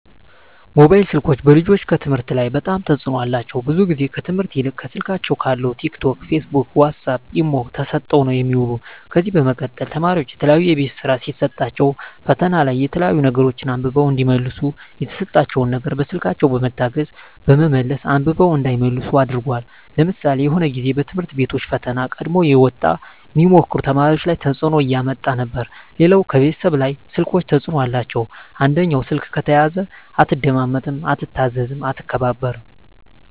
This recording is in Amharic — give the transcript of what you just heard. ሞባይል ስልኮች በልጆች ከትምህርት ላይ በጣም ተጽዕኖ አላቸው ብዙ ግዜ ከትምህርት ይልቅ ከስልካቸው ካለው ቲክ ቶክ ፊስቡክ ዋሳፕ ኢሞ ተሰጠው ነው የሚውሉ ከዚ በመቀጠል ተማሪዎች የተለያዩ የቤት ስራ ሲሰጣቸዉ ፈተና ላይ የተለያዩ ነገሮች አንብበው እዲመልሱ የተሰጣቸው ነገር በስልኮች በመታገዝ በመመለስ አንብበው እንዳይመልሱ አድርጓል ለምሳሌ የሆነ ግዜ በትምህርት ቤቶች ፈተና ቀድሞ እየወጣ ሚሞክሩ ተማሪዎች ላይ ተጽዕኖ እያመጣ ነበር ሌላው ከቤተሰብ ላይ ስልኮች ተጽዕኖ አላቸው አንደኛው ስልክ ከተያዘ አትደማመጥም አትታዘዝም አትከባበርም